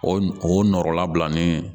O o nɔrɔlabila ni